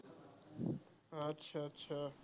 আচ্ছা আচ্ছা